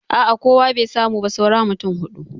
A a kowa bai samu ba saura mutum huɗu.